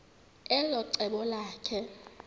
elo cebo lakhe